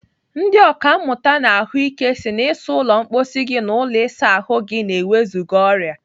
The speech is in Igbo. Ndị ọkàmmụta n'ahụike si na ịsa ụlọ mkposi gị na ụlọ ịsa ahụ gị na-ewezụga ọrịa.